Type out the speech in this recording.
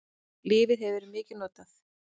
Lyfið hefur verið mikið notað.